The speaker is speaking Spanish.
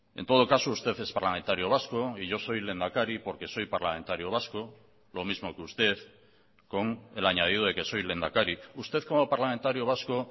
en todo caso usted es parlamentario vasco y yo soy lehendakari porque soy parlamentario vasco lo mismo que usted con el añadido de que soy lehendakari usted como parlamentario vasco